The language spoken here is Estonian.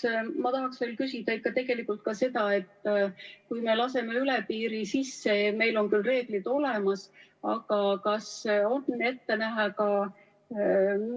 ]... aga ma tahaksin küsida veel ka seda, et kui me laseme üle piiri sisse, meil on küll reeglid olemas, aga kas on ette näha,